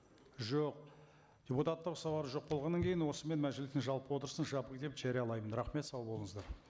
жоқ депутаттық сауал жоқ болғаннан кейін осымен мәжілістің жалпы отырысын жабық деп жариялаймын рахмет сау болыңыздар